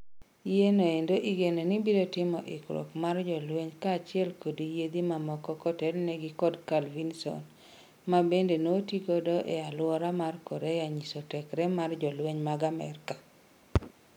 Yie no endo igeno ni biro timo ikruok mag jolweny kachiel kod yiedhi mamoko kotelnegi kod carl Vinson, mabende notigodo ee aluora mar kKorea nyiso tekre mar Jolweny mag Amerika